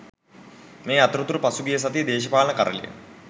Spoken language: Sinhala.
මේ අතරතුර පසුගිය සතියේ දේශපාලන කරළිය